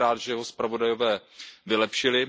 Jsem rád, že ho zpravodajové vylepšili.